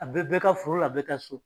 A bɛ bɛɛ ka foro a bɛɛ ka so!